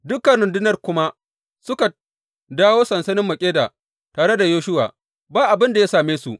Dukan rundunar kuma suka dawo sansanin Makkeda tare da Yoshuwa, ba abin da ya same su.